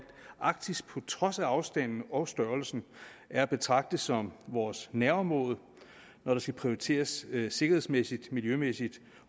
arktis på trods af afstanden og størrelsen er at betragte som vores nærområde når der skal prioriteres sikkerhedsmæssigt miljømæssigt